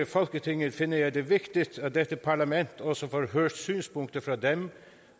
folketinget finder jeg det vigtigt at dette parlament også får hørt synspunkter fra dem